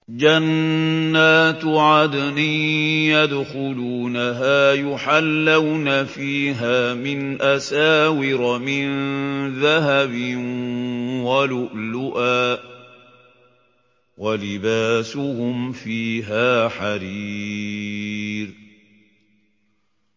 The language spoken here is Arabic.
جَنَّاتُ عَدْنٍ يَدْخُلُونَهَا يُحَلَّوْنَ فِيهَا مِنْ أَسَاوِرَ مِن ذَهَبٍ وَلُؤْلُؤًا ۖ وَلِبَاسُهُمْ فِيهَا حَرِيرٌ